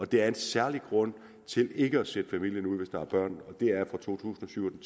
det er en særlig grund til ikke at sætte familien ud hvis der er børn det er fra to tusind og syv